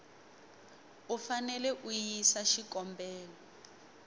u fanele a yisa xikombelo